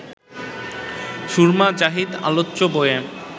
সুরমা জাহিদ আলোচ্য বইয়ে